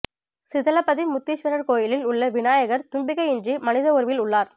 சிதலப்பதி முத்தீசுவரர் கோயிலில் உள்ள விநாயகர் தும்பிக்கையின்றி மனித உருவில் உள்ளார்